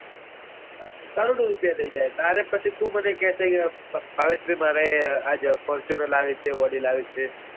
કરોડો આ થઇ જાય તારે પછી તું મને કેસે કે ભાવેશ ભાઈ મારે આજે fortuner લાવવી છે audi લાવવી છે.